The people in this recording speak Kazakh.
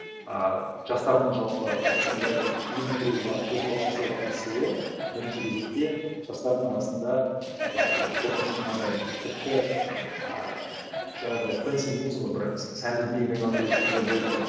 ыыы жастардың жалпы осындай ұйым құруға қозғалыс жасауға тырысуы бірінші кезекте жастардың арасында ііі қорқыныштың азаюына тіпті ааа жаңағыдай фенси дейміз ғой бір сәнді дүниеге айналып келе жатқандай болды да